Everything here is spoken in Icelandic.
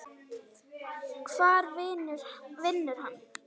Hvar vinnur hann?